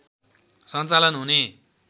सञ्चालन हुने